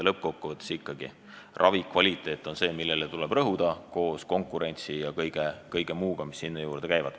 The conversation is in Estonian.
Lõppkokkuvõttes on ikkagi ravikvaliteet see, millele tuleb rõhuda, koos konkurentsi ja kõige muuga, mis sinna juurde käib.